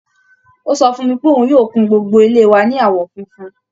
Ó sọ fún mi pé òun yóò kun gbogbo ilé wa ní àwọn funfun